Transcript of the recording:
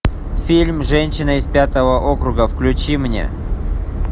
фильм женщина из пятого округа включи мне